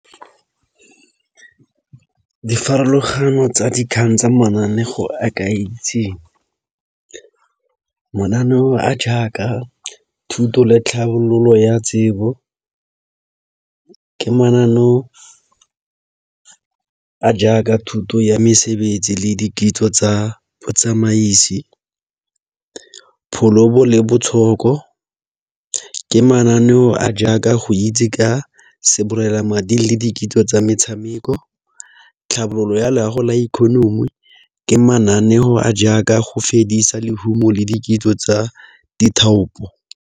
Difarologano tsa dikgang tsa mananeo a ke a itseng. Mananeo a jaaka thuto le tlhabololo ya tsebo ka mananeo a jaaka thuto ya mesebetsi le dikitso tsa botsamaisi. le botshoko ke mananeo a jaaka go itse ka sebolelamading le dikitsiso tsa metshameko, tlhabololo ya loago la economy ke mananeo a jaaka go fedisa lehumo le di kitso tsa dithaopo.